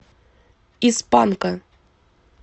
из панка